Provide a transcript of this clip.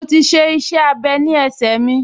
Mo ti --iṣẹ́-abẹ́ ní ẹsẹ mi